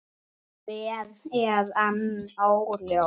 Hver er enn óljóst.